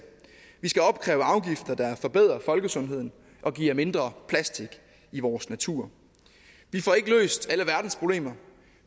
vi skal opkræve afgifter der forbedrer folkesundheden og giver mindre plastik i vores natur vi får ikke løst alle verdens problemer